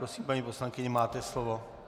Prosím, paní poslankyně, máte slovo.